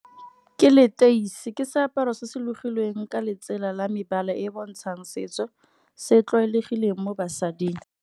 Ke leteisi ke seaparo se se logilweng ka letsela la mebala e e bontshang setso, se tlwaelegile mo basading.